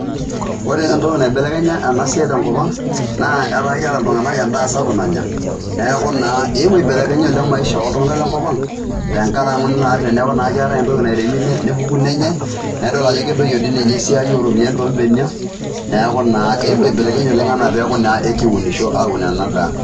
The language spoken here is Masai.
Ore entoki naibelekenya ena siai tenkop ang', enaa etaa keeta iltung'anak endaa sapuk nanya, neeku naa eewuo aibelekeny oleng' maisha ooltung'anak lenkop ang', tenkaraki naa... teneaku naa keetai entoki nairemi nepuku nenyai, naidol ajo kedoyio dii ninye esiai ooropiyani toombenia, neaku naa eewou aibelekeny oleng' enaa naa ekiunisho aaun ena daa